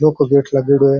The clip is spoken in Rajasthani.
लौह को गेट लागेडॉ है।